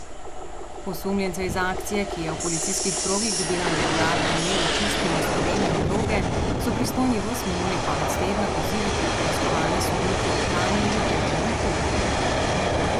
Osumljence iz akcije, ki je v policijskih krogih dobila neuradno ime Očistimo Slovenijo droge, so pristojni ves minuli konec tedna vozili pred preiskovalne sodnike v Kranju, Ljubljani in Kopru.